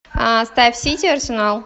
а ставь сити арсенал